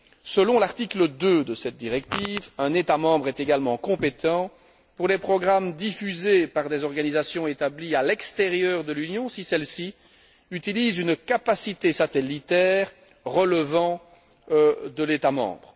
Selon l'article 2 de cette directive, un État membre est également compétent pour les programmes diffusés par des organisations établies à l'extérieur de l'Union, si celles ci utilisent une capacité satellitaire relevant de l'État membre.